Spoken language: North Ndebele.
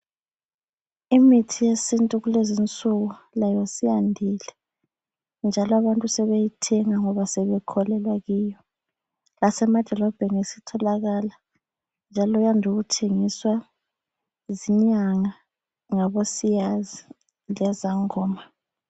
Imithi yesintu kulezinsuku layo siyandile njalo abantu sebeyithenga ngoba sebekholelwa kiyo. Lasemadolobheni sitholakala njalo yande ukuthengiswa zinyanga , labo siyazi , lezangoma